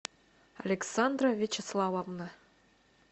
александра вячеславовна